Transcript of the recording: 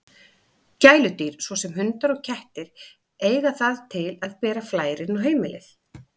Gæludýr, svo sem hundar og kettir, eiga það til að bera flær inn á heimili.